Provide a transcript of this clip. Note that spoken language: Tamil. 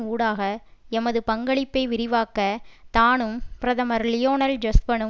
ஊடாக எமது பங்களிப்பை விரிவாக்க தானும் பிரதமர் லியோனல் ஜொஸ்பனும்